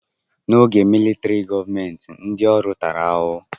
N'oge militrị gọọmenti, ndị ọrụ tara ahụhụ.